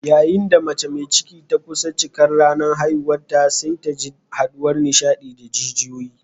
Yayin da mace mai ciki ta kusa cikar ranar haihuwarta sai ta ji haduwar nishadi da jijiyoyi.